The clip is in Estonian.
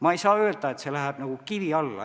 Ma ei saa öelda, et see läheb kivi alla.